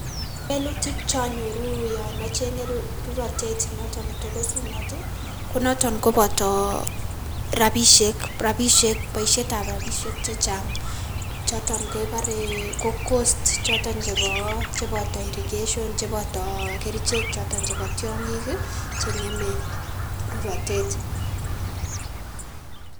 Kewelutik cheonyoru yon ocheng'e rurotet noton netokosunot ii konoton koboto rabisiek rabisiek boisietab rabisiek chechang' choton keboree ko cost choton chebo cheboto irrigation , chebotoo kerichek choton chebo tiong'ik ii cheng'eme rurotet.